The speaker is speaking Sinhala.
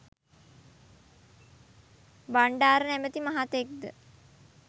බණ්ඩාර නමැති මහතෙක් ද